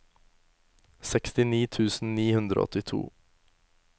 sekstini tusen ni hundre og åttito